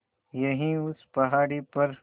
यहीं उस पहाड़ी पर